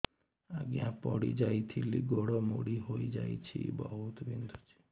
ଆଜ୍ଞା ପଡିଯାଇଥିଲି ଗୋଡ଼ ମୋଡ଼ି ହାଇଯାଇଛି ବହୁତ ବିନ୍ଧୁଛି